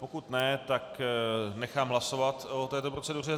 Pokud ne, tak nechám hlasovat o této proceduře.